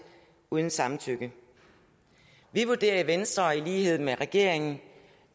uden samtykke vi vurderer i venstre i lighed med regeringen